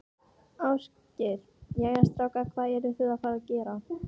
Ásgeir: Jæja, strákar, hvað eruð þið að fara að gera?